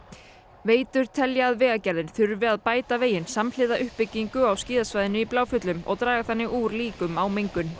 veitur telja að Vegagerðin þurfi að bæta veginn samhliða uppbyggingu á skíðasvæðinu í Bláfjöllum og draga þannig úr líkum á mengun